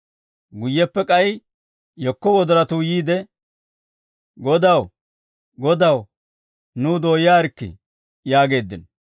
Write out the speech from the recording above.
«Guyyeppe k'ay yekko wodoratuu yiide, ‹Godaw, godaw, nuw dooyaarikkii› yaageeddino.